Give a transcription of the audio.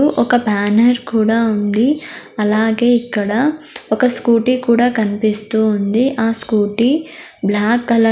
ఒక బ్యానర్ కూడా ఉంది అలాగే ఇక్కడ ఒక స్కూటీ కూడా కనిపిస్తూ ఉంది. ఆ స్కూటీ బ్లాక్ కలర్ --